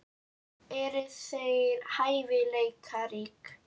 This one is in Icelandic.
Eru þeir hæfileikaríkir?